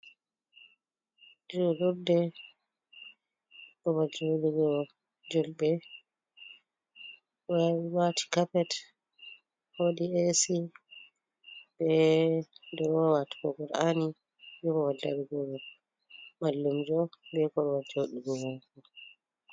Julurde babal juligoo julbe ɓe ve'iti cappet be ac be drowat kogowal ani yuvava jaɗirgo mallumjo be korwati wodugo mo.